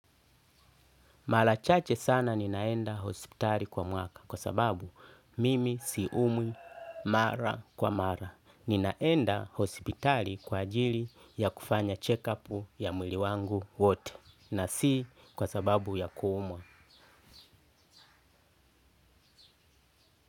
Mara chache sana ninaenda hospitali kwa mwaka kwa sababu mimi siumwi mara kwa mara. Ninaenda hospitali kwa ajili ya kufanya check up ya mwili wangu wote na si kwa sababu ya kuumwa.